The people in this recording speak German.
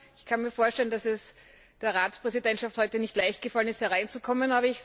Ich kann mir vorstellen, dass es der Ratspräsidentschaft heute nicht leicht gefallen ist hierher zu kommen.